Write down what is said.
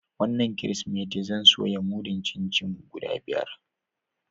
Wanan kiristimeti zan soya mudun chin-chin guda biyar.